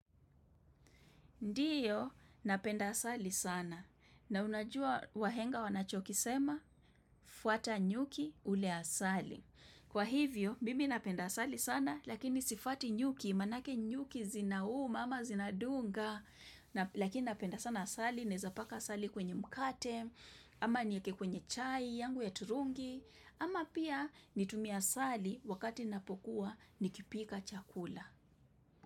Ndio, napenda asali sana, na unajua wahenga wanachokisema, fuata nyuki ule asali. Kwa hivyo, mimi napenda asali sana, lakini sifuati nyuki, manake nyuki zinauma ama zinadunga, lakini napenda sana asali, naeza paka asali kwenye mkate ama nieke kwenye chai, yangu ya turungi, ama pia nitumie asali wakati napokuwa nikipika chakula.